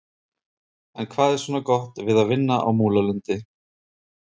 En hvað er svona gott við að vinna á Múlalundi?